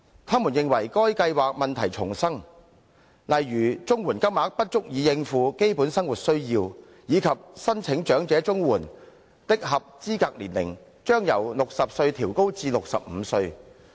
他們認為該計劃問題叢生，例如綜援金額不足以應付基本生活需要，以及申領長者綜援的合資格年齡，將由60歲調高至65歲。